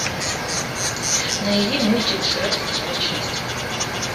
найди мультик шрек вторая часть